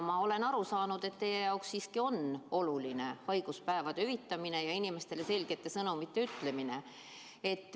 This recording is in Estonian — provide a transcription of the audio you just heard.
Ma olen aru saanud, et teie jaoks siiski on oluline haiguspäevade hüvitamine ja inimestele selgete sõnumite ütlemine.